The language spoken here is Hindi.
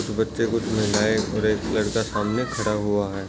बच्चे को नहलाए और एक लड़का सामने खड़ा है।